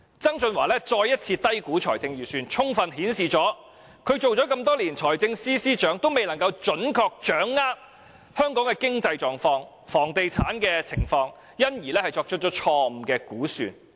曾俊華再次低估財政盈餘，充分顯示他擔任財政司司長多年，仍未能準確掌握香港的經濟狀況和房地產情況，因而作出錯誤估算。